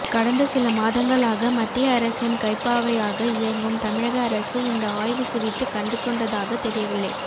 கடந்த சில மாதங்களாக மத்திய அரசின் கைப்பாவையாக இயங்கும் தமிழக அரசு இந்த ஆய்வு குறித்து கண்டுகொண்டதாக தெரியவில்லை